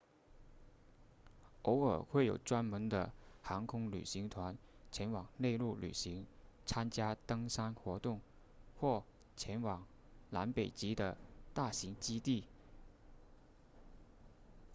偶尔会有专门的航空旅行团前往内陆旅行参加登山活动或前往南北极的大型基地